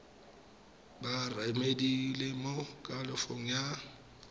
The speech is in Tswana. ba remediale mo kalafong ya